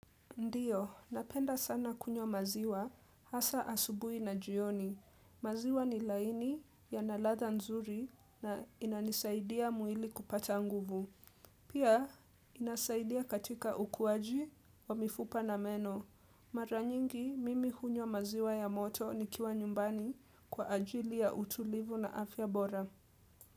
Ndiyo, napenda sana kunywa maziwa hasa asubui na jioni. Maziwa ni laini yanaladha nzuri na inanisaidia mwili kupata nguvu. Pia, inasaidia katika ukuwaji wa mifupa na meno. Maranyingi, mimi hunywa maziwa ya moto nikiwa nyumbani kwa ajili ya utulivu na afya bora.